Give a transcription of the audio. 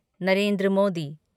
Narendra Modi